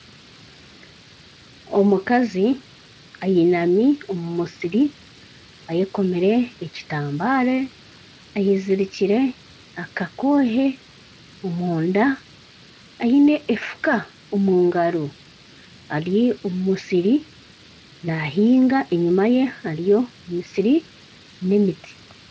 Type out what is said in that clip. Omukazi ayinami omu musiri ayekomire ekitambara, ayezirikire akakoohe omunda, ayine efuka omu ngaro ari omu omusiri nahiinga enyima ye hariyo emisiri n'emiti.